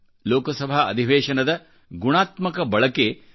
ಲೋಕಸಭಾ ಅಧಿವೇಶನದ ಗುಣಾತ್ಮಕ ಬಳಕೆ ಶೇ